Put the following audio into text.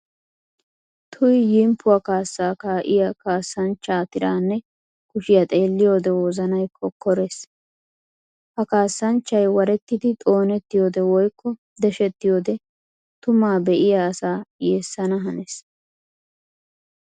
Tuy! Yimppuwa kaassa kaa'iya kaassanchcha tiranne kushiya xeelliyodde wozanay kokkorees. Ha kaassanchchay warettiddi xoonettiyode woykko deshettiyode tuma be'iya asaa yeesana hanees.